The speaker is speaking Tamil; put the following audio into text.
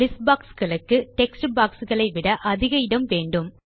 லிஸ்ட் boxகளுக்கு டெக்ஸ்ட் boxகளை விட அதிக இடம் வேண்டும்